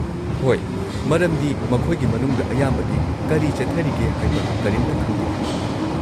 ꯍꯣꯏ, ꯃꯔꯝꯗꯤ ꯃꯈꯣꯏꯒꯤ ꯃꯅꯨꯡꯗ ꯑꯌꯥꯝꯕꯗꯤ ꯀꯔꯤ ꯆꯠꯊꯔꯤꯒꯦ ꯍꯥꯏꯕ ꯀꯔꯤꯝꯇ ꯈꯪꯗꯦ꯫